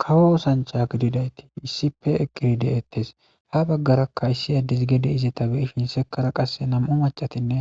Kawo osancha gididayti isipe eqqiride'ettes ha baggarakka issi addes gede izeta beyihinsekara qasse nam'u macatinne